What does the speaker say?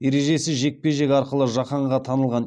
ережесіз жекпе жек арқылы жаһанға танылған